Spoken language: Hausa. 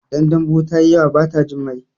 Idan dambu tayi yawa bata jin mai